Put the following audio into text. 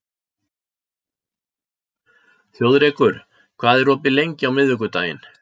Þjóðrekur, hvað er opið lengi á miðvikudaginn?